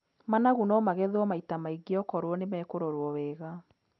Managu no magethwo maita maingĩ okorwo nĩmekũrorwo wega.